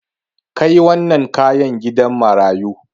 Kai wannan kayan gidan marayu.